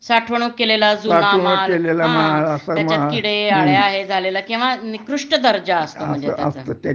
साठवणूक केलेला जुना माल हा त्याच्यात किडे आळ्या हे झालेलं किंवा निकृष्ट दर्जा असतो म्हणजे त्याचा